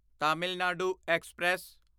Tamil Nadu express